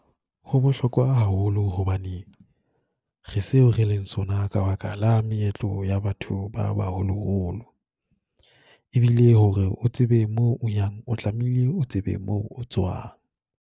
Ho bohlokwa haholo hobane re seo re leng sona ka baka ka la meetlo ya batho ba ba holoholo. E bile hore o tsebe moo o yang, o tlamehile o tsebe moo tswang.